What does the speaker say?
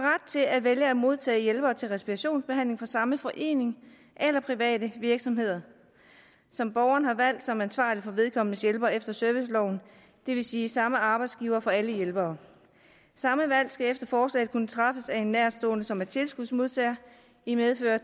til at vælge at modtage hjælpere til respirationsbehandling fra samme forening eller private virksomheder som borgeren har valgt som ansvarlig for vedkommendes hjælpere efter serviceloven det vil sige samme arbejdsgiver for alle hjælpere samme valg skal efter forslaget kunne træffes af en nærtstående som er tilskudsmodtager i medfør